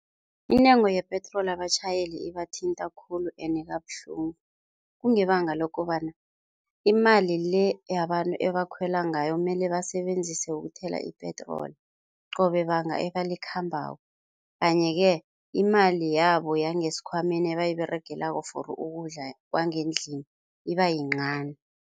Intengo yepetroli abatjhayele ibathinta khulu ende kabuhlungu kungebanga lokobana imali-le yabantu ebakhwela ngayo mele basebenzise ukuthela ipetroli qobe banga ebalikhambako, kanye-ke imali yabo yangesikhwameni ebayiberegelako for ukudla kwangendlini ibayincani.